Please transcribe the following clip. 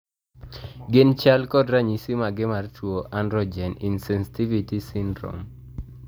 Gin chal koda ranyisi mage mar tuo androgen insensitivity syndrome?